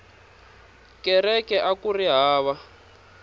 kereke akuri hava